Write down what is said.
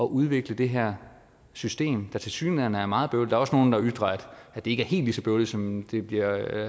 udvikle det her system der tilsyneladende er meget bøvlet er også nogle der ytrer at det ikke er helt lige så bøvlet som det bliver